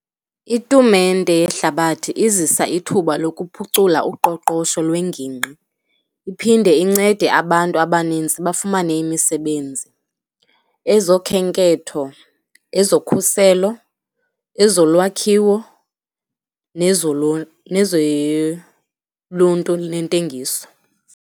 Itumente yehlabathi izisa ithuba lokuphucula uqoqosho lwengingqi, iphinde incede abantu abanintsi bafumane imisebenzi, ezokhenketho, ezokhuselo, ezolwakhiwo, nezoluntu olunentengiso.